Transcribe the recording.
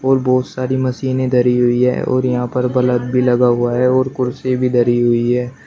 और बहोत सारी मशीने धरी हुई है और यहां पर बलफ़ भी लगा हुआ है और कुर्सी भी धरी हुई है।